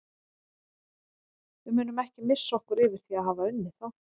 Við munum ekki missa okkur yfir því að hafa unnið þá.